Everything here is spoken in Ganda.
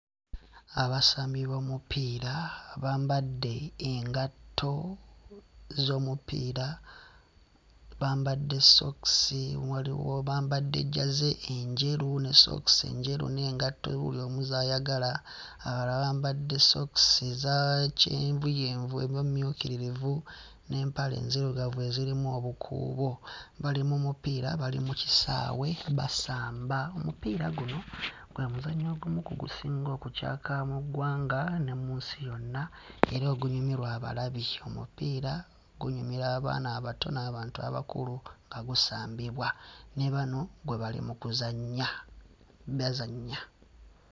Abasambi b'omupiira abambadde engatto z'omupiira, bamadde ssookisi, waliwo bambadde jjaze enjeru ne ssookisi njeru n'engatto buli omu z'ayagala abalala bambadde ssookisi eza kyenvuyenvu oba emmyukirivu n'empale enzirugavu ezirimu obukuubo bali mu mupiira bali mu kisaawe basamba. Omupiira guno gwe muzannyo ogumu ku gusinga okucaaka mu ggwanga ne mu nsi yonna era ogunyumirwa abalabi. Omupiira gunyumira abaana abato n'abantu abakulu nga gusambibwa ne bano gwe bali mu kuzannya, bazannya.